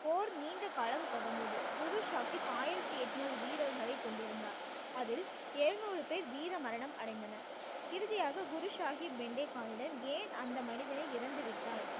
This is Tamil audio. போர் நீண்ட காலம் தொடர்ந்தது, குரு சாஹிப் ஆயிரத்தி எட்நூறு வீரர்களை கொண்டிருந்தார் அதில் எழுநூறு பேர் வீர மரணம் அடைந்தனர் இறுதியாக குரு சாஹிப் பெண்டே கானிடம் ஏன் அந்த மனிதனே இறந்து விட்டாய்